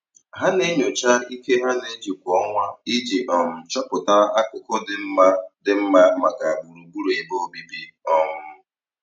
Ha na-enyocha ike ha na-eji kwa ọnwa iji um chọpụta akụkụ dị mma dị mma maka gbugburu ebe obibi. um